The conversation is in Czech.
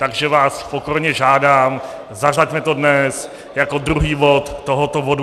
Takže vás pokorně žádám, zařaďme to dnes jako druhý bod tohoto bodu.